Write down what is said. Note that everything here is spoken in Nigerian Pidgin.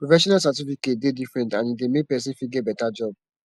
professional certificate de different and e de make persin fit get better job